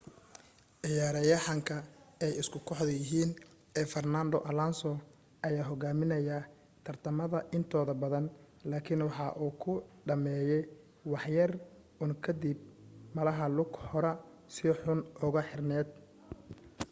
cayaaryahanka ay isku kooxda yihiin ee farnando alonso ayaa hogaaminaye tartamada intooda badan laakin waxa uu ku dhameeye wax yar un kadib malaha lug horaa si xun ugu xirneed